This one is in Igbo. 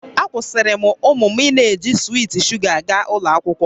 Akwụsịrị m ụmụ m ịna-eji swiit sugar aga ụlọ akwụkwọ